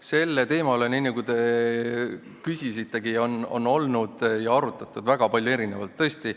Selle teema üle, nii nagu te küsisitegi, on arutatud väga palju ja erineval viisil.